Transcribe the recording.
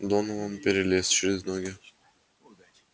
донован перелез через ноги